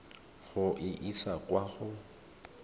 go e isa kwa go